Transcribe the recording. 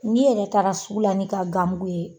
N'i yɛrɛ taara sugu la n'i ka gan mugu ye.